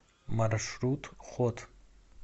маршрут хот